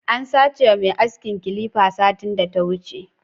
An sache ma mai aski clipper satin da ta wuche.